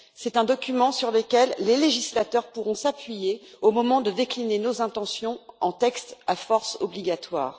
C'est un document sur lequel les législateurs pourront s'appuyer au moment de décliner nos intentions en textes à force obligatoire.